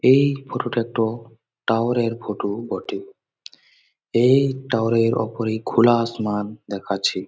এই ফটো -টাতো টাওয়ার -এর ফটো বটে ।এই টাওয়ার -এর ওপরে খোলা আসমান দেখাচ্ছে।